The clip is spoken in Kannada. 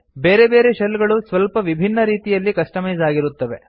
ಬೇರೆ ಬೇರೆ ಶೆಲ್ ಗಳು ಸ್ವಲ್ಪ ವಿಭಿನ್ನ ರೀತಿಯಲ್ಲಿ ಕಸ್ಟಮೈಸ್ ಆಗಿರುತ್ತವೆ